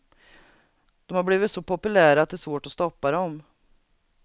De har blivit så populära att det är svårt att stoppa dem.